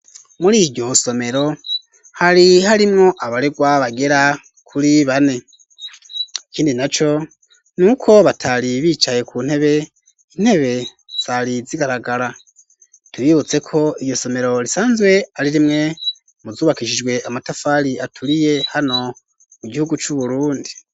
Muri iryo somero hari harimwo abarerwa bagera kuri bane ikindi naco nuko batari bicaye ku ntebe, Intebe zari zigaragara tubibutse ko iyo somero risanzwe ari rimwe mu zubakishijwe amatafari aturiye hano mu gihugu c'uburundi.